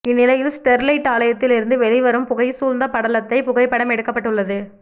இந்நிலையில் ஸ்டெர்லைட் ஆலையில் இருந்து வெளிவரும் புகை சூழ்ந்த படலத்தை புகைப்படம் எடுக்கப்பட்டு உள்ளது